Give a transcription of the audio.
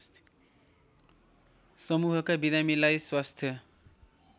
समूहका बिरामीलाई स्वास्थ्य